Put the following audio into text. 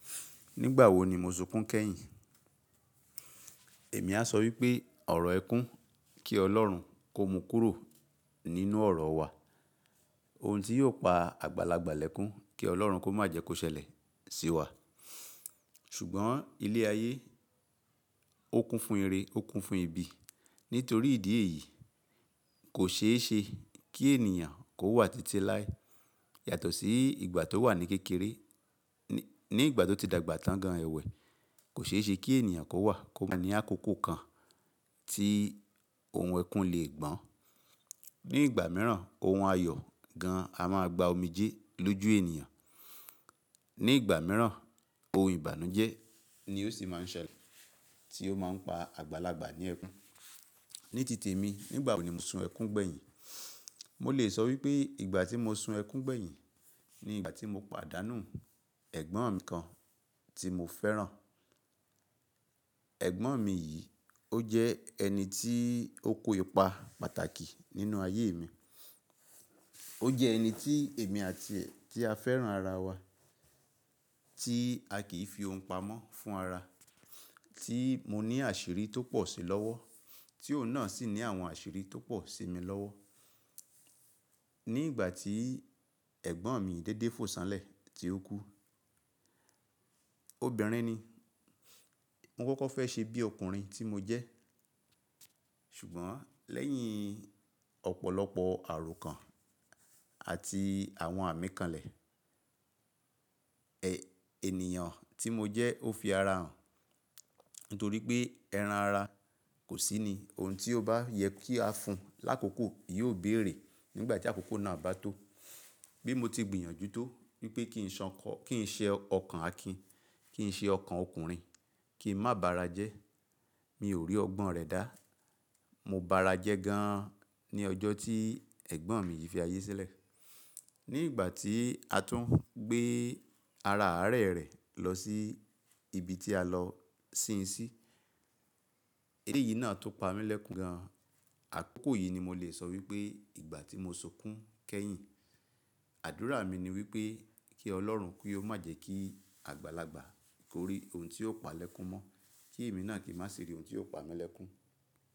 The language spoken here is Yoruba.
Nígbà wo ni mo sunkún kẹ́yìn? Èmi a sọ wípé ọ̀rọ̀ ẹkún kí Ọlọ́run kó mu kúrò nínú ọ̀rọ̀ wa, ohun tí yóò pa àgbàlagbà lẹ́kún kí Ọlọ́run kó má jẹ kó ṣẹlẹ̀ sí wa. Ṣùgbọ́n ilé ayé ó kún fún ire, ó kún fún ibi. Nítorí ìdí èyí, kò ṣe é ṣe kí ènìyàn kó wà títí láé yàtọ̀ sí ìgbà tó wà ní kékeré. Ni, ní ìgbà tó ti dàgbà tán gan èwé, kò ṣe é ṣe kí ènìyàn kó wà kó má ní àkókò kan tí ohun ẹkún lè gbọ́n. Ní ìgbà mìíràn, ohun ayọ̀ gan a máa gba omijé lójú ènìyàn. Ní ìgbà mìíràn, ohun ìbànújẹ́ ni ó sì máa ń ṣẹlẹ̀ tí ó máa ń pa àgbàlagbà ní ẹkún. Ní tìtì mi, nígbà wo ni mo sun ẹkún gbẹ̀yìn? Mo lè sọ wípé ìgbà tí mo sun ẹkún gbẹ̀yìn ni ìgbà tí mo pàdánù ẹ̀gbọ́n mi kan tí mo fẹ́ràn. Ẹ̀gbọ́n mi yìí, ó jẹ́ ẹni tí ó kó ipa pàtàkì nínú ayé mi. Ó jẹ́ ẹni tí èmi àti ẹ́ tí a fẹ́ràn ara wa, tí a kì í fi ohun pa mọ́ fún ara, tí mo ní àṣírí tó pọ̀ sí i lọ́wọ́, tí òun náà sì ní àwọn àṣírí tó pọ̀ sí i mi lọ́wọ́. Ní ìgbà tí ẹ̀gbọ́n mi dédé fo ṣánlẹ̀ tí ó kú, obìnrin ni, mo kọ́kọ́ fẹ́ ṣe bí ọkùnrin tí mo jẹ́. Ṣùgbọ́n lẹ́yìn ọ̀pọ̀lọpọ̀ àròkàn àti àwọn àmì kanlẹ̀, e, ènìyàn tí mo jẹ́ ó fi ara hàn. Nítorí pé ẹran ara kò sí ni, ohun tí ó bá yẹ kí a fún un lákòókò yóò bèrè nígbà tí àkókò náà bá tó. Bí mo ti gbìyànjú tó wípé kì í ṣan kọ́, kì í ṣe ọkàn Akin, kì í ṣe ọkàn ọkùnrin, kí n má bara jẹ́, mi ò rí ọgbọ́n rẹ̀ dá. Mo bara jẹ́ gan an ní ọjọ́ tí ẹ̀gbọ́n mi yìí fi ayé sílẹ̀. Ní ìgbà tí a tún gbé ara Ààrẹ rẹ̀ lọ sí ibi tí a lọ sin ín sí. Eré yìí náà tó pa mí lẹ́kún gan. Àkókò yìí ni mo le sọ wípé ìgbà tí mo sunkún kẹ́yìn. Àdúrà mi ni wípé kí Ọlọ́run pé ó má jẹ́ kí àgbàlagbà kó rí ohun tí ó pa lẹ́kún mọ́, kí èmi náà kì í má sì rí ohun tí ó pa mí lẹ́kún.